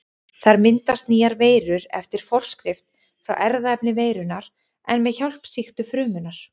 Þar myndast nýjar veirur eftir forskrift frá erfðaefni veirunnar en með hjálp sýktu frumunnar.